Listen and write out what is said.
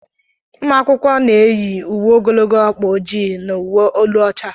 Ụmụ akwụkwọ na-eyi uwe ogologo ọkpa ojii na uwe elu ọcha.